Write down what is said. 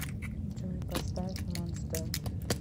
джой поставь монстер